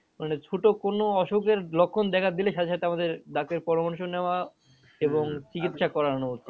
মানে ছোটো কোনো অসুখের লক্ষণ দেখা দিলে সাথে সাথে আমাদের ডাক্তারের পরামর্শ নেওয়া করানো উচিত।